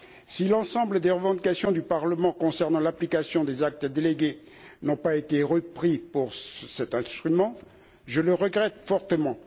Si l'ensemble des revendications du Parlement concernant l'application des actes délégués n'ont pas été retenus pour cet instrument, je le regrette fortement.